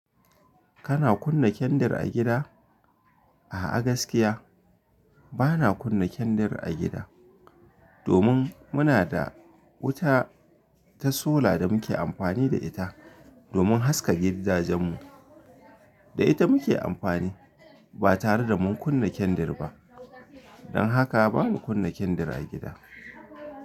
Kana kunna kendir a gida? A a gaskiya, bana kunna kendir a gida domin muna da wuta ta sola da muke amfani da ita domin haska gidajen mu. Da ita muke amfani ba tare da mun kunna kendir ba. Don haka bana kunna kendir a gida.